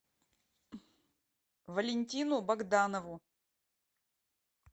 валентину богданову